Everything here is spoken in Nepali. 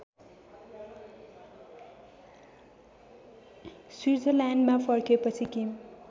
स्विट्जरल्यान्डमा फर्केपछि किम